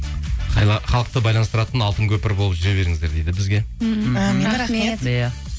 халықты байланыстыратын алтын көпір болып жүре беріңіздер дейді бізге әумин рахмет иә